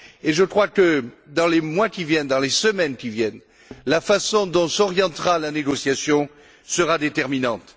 Je crois que, dans les mois qui viennent, dans les semaines qui viennent, la façon dont s'orientera la négociation sera déterminante.